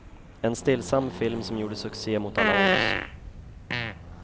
En stillsam film som gjorde succé mot alla odds.